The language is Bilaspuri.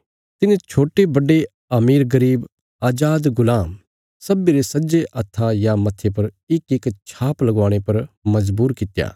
तिने छोट्टेबड्डे अमीरगरीब अजादगुलाम सब्बीं रे सज्जे हत्था या मत्थे पर इकइक छाप लगवाणे पर मजबूर कित्या